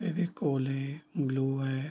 फेविकोल है ग्लू है |